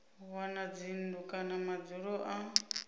wana dzinnu kana madzulo na